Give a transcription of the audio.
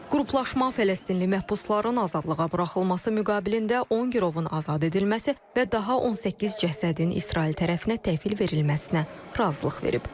Qruplaşma Fələstinli məhbusların azadlığa buraxılması müqabilində 10 girovun azad edilməsi və daha 18 cəsədin İsrail tərəfinə təhvil verilməsinə razılıq verib.